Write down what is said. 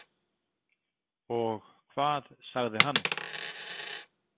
Og hvað sagði hann?